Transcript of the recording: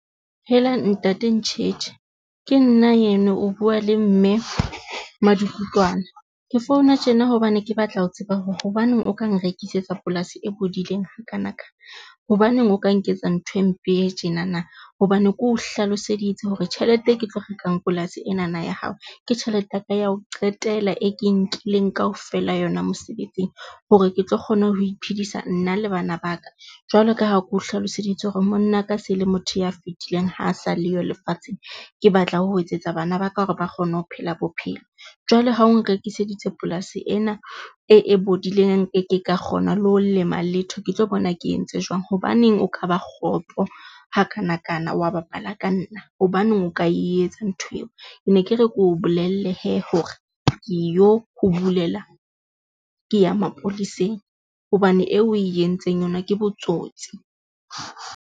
Hela ntate Ntjhetjhe ke nna eno, o bua le Mme Madukutwana. Ke founa tjena hobane ke batla ho tseba hore hobaneng o ka nrekisetsa polasi e bodileng ha kana ka? Hobaneng o ka nketsa ntho e mpe e tjena na? Hobane ke o hlaloseditse hore tjhelete e ke tlo rekang polasi e nana ya hao. Ke tjhelete ya ka ya ho qetela e ke e nkileng kaofela yona mosebetsing hore ke tlo kgona ho iphedisa nna le bana ba ka. Jwalo ka ha ke o hlaloseditse hore monna ka se le motho ya fetileng ha sale yo lefatsheng. Ke batla ho etsetsa bana ba ka hore ba kgone ho phela bophelo. Jwale ha o nrekiseditse polasi ena e, e bodileng, nkeke ka kgona le ho lema letho, ke tlo bona ke entse jwang? Hobaneng o ka ba kgopo ha kanakana wa bapala ka nna? Hobaneng o ka etsa ntho eo? Ke ne ke re ke o bolelle hee hore ke yo ho bulela, ke ya mapoleseng hobane eo oe entseng yona ke botsotsi.